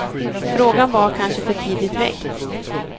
Frågan var kanske för tidigt väckt.